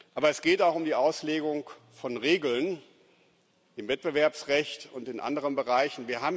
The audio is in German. Aber es geht auch um die Auslegung von Regeln im Wettbewerbsrecht und in anderen Bereichen.